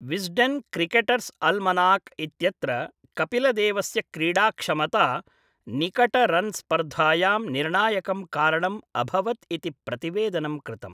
Wisden Cricketers' Almanack इत्यत्र कपिलदेवस्य क्रीडाक्षमता निकट रन् स्पर्धायां निर्णायकं कारणम् अभवत् इति प्रतिवेदनं कृतम्।